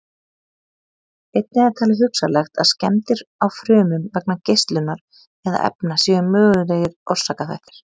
Einnig er talið hugsanlegt að skemmdir á frumum vegna geislunar eða efna séu mögulegir orsakaþættir.